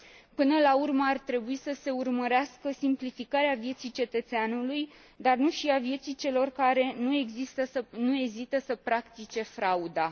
Până la urmă, ar trebui să se urmărească simplificarea vieții cetățeanului, dar nu și a vieții celor care nu ezită să practice frauda.